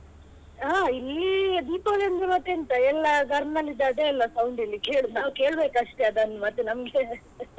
ಹ ಇಲ್ಲೀ ದೀಪಾವಳಿ ಅಂದ್ರೆ ಮತ್ತೆಂತ ಎಲ್ಲ ಗರ್ನಲಿದ್ದು ಅದೇ ಅಲ್ಲ sound ಇಲ್ಲಿ ಕೇಳುದು ನಾವ್ ಕೇಳ್ಬೇಕಷ್ಟೆ ಅದನ್ನು ಮತ್ತೆ ನಮ್ಗೆ .